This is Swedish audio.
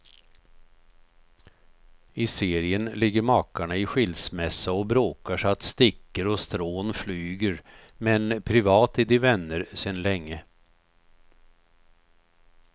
I serien ligger makarna i skilsmässa och bråkar så att stickor och strån flyger, men privat är de vänner sedan länge.